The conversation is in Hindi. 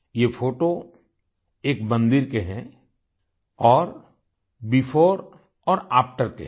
ये फोटो एक मंदिर के हैं औरbefore और आफ्टर के हैं